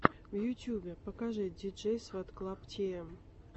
в ютубе покажи диджейсватклабтиэм